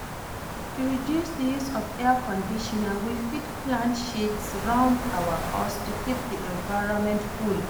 To reduce di use of Air Conditioner, we fit plant shades round our house to keep di environment cool